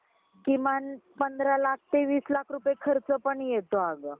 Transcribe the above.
आईला किवा बाळाला किवा त्या स्त्रीला पण बऱ्याच वेगवेगळ्या आजारांमध्ये जावं लागत असे. आता या सगळ्या गोष्टी खूप बदललेल्या आहेत.